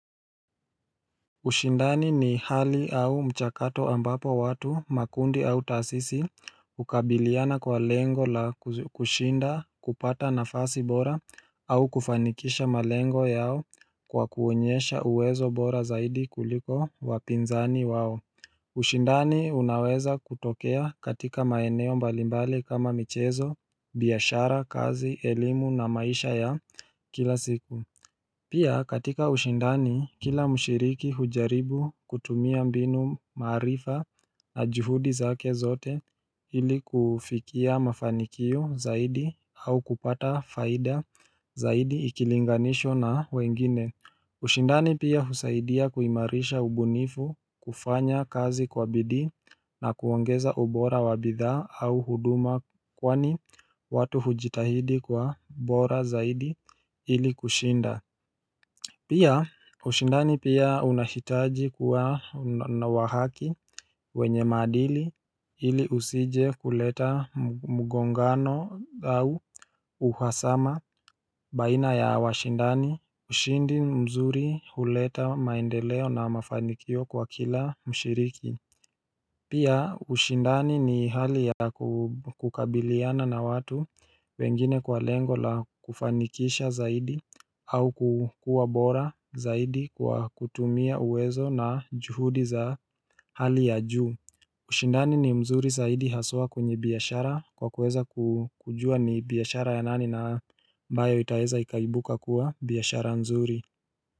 Ushindani ni hali au mchakato ambapo watu makundi au taasisi ukabiliana kwa lengo la kushinda kupata nafasi bora au kufanikisha malengo yao kwa kuonyesha uwezo bora zaidi kuliko wapinzani wao ushindani unaweza kutokea katika maeneo mbalimbali kama michezo, biashara, kazi, elimu na maisha ya kila siku Pia katika ushindani kila mshiriki hujaribu kutumia mbinu maarifa na juhudi zake zote ili kufikia mafanikio zaidi au kupata faida zaidi ikilinganishwa na wengine ushindani pia husaidia kuimarisha ubunifu kufanya kazi kwa bidii na kuongeza ubora wabithaa au huduma kwani watu hujitahidi kwa ubora zaidi ili kushinda Pia, ushindani pia unahitaji kuwa wahaki wenye maadili ili usije kuleta mgongano au uhasama baina ya washindani ushindi mzuri huleta maendeleo na mafanikio kwa kila mshiriki Pia ushindani ni hali ya kukabiliana na watu wengine kwa lengo la kufanikisha zaidi au kukua bora zaidi kwa kutumia uwezo na juhudi za hali ya juu ushindani ni mzuri zaidi haswa kwenye biashara kwa kuweza kujua ni biashara ya nani na ambayo itaeza ikaibuka kuwa biashara nzuri.